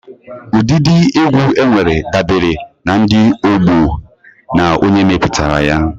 Ụdịdị egwu enwere dabere na ndi, ọgbọó, na onye meputara ya.